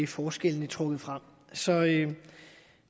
forskellene trukket frem så